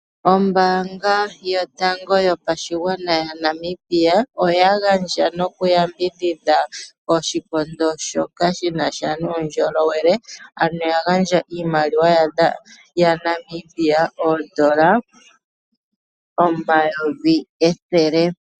Ombaanga yotanga yopashingwana ya Namibia oya gandja noku yambidhidha oshikondo shoka shinasha nuundjolowele ano yagandja iimaliwa yaNamibia oodola omayovi ethele.